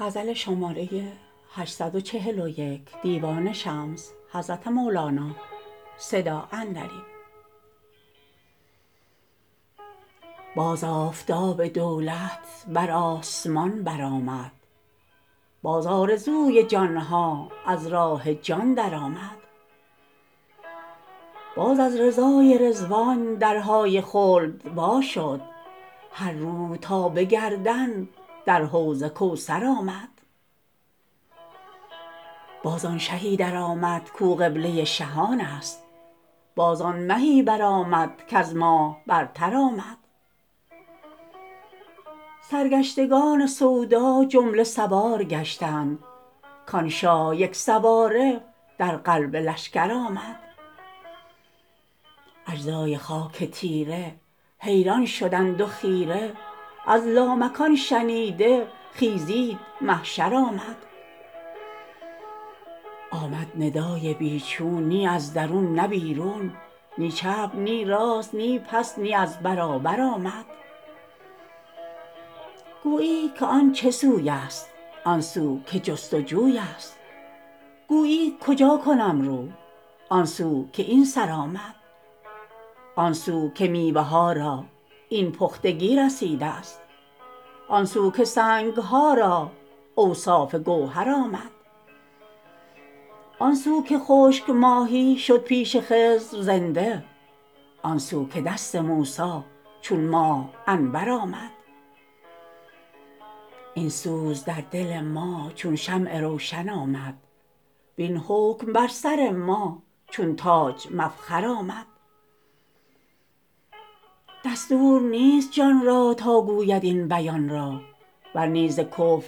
باز آفتاب دولت بر آسمان برآمد باز آرزوی جان ها از راه جان درآمد باز از رضای رضوان درهای خلد وا شد هر روح تا به گردن در حوض کوثر آمد باز آن شهی درآمد کو قبله شهانست باز آن مهی برآمد کز ماه برتر آمد سرگشتگان سودا جمله سوار گشتند کان شاه یک سواره در قلب لشکر آمد اجزای خاک تیره حیران شدند و خیره از لامکان شنیده خیزید محشر آمد آمد ندای بی چون نی از درون نه بیرون نی چپ نی راست نی پس نی از برابر آمد گویی که آن چه سویست آن سو که جست و جویست گویی کجا کنم رو آن سو که این سر آمد آن سو که میوه ها را این پختگی رسیدست آن سو که سنگ ها را اوصاف گوهر آمد آن سو که خشک ماهی شد پیش خضر زنده آن سو که دست موسی چون ماه انور آمد این سوز در دل ما چون شمع روشن آمد وین حکم بر سر ما چون تاج مفخر آمد دستور نیست جان را تا گوید این بیان را ور نی ز کفر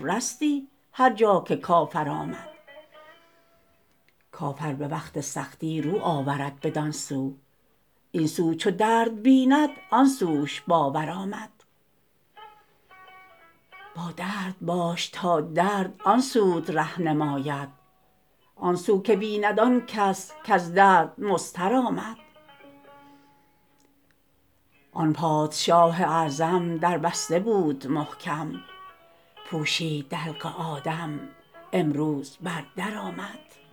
رستی هر جا که کفر آمد کافر به وقت سختی رو آورد بدان سو این سو چو درد بیند آن سوش باور آمد با درد باش تا درد آن سوت ره نماید آن سو که بیند آن کس کز درد مضطر آمد آن پادشاه اعظم در بسته بود محکم پوشید دلق آدم امروز بر در آمد